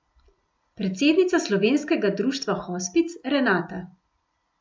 Predsednica Slovenskega društva hospic Renata.